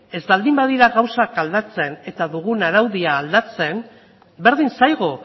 ez baldin badira gauzak aldatzen eta dugun araudia aldatzen berdin zaigu